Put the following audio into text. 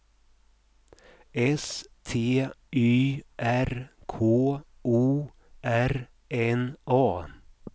S T Y R K O R N A